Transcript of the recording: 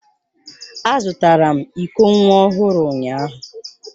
Azụtara m iko nwa ọhụrụ ụnyahụ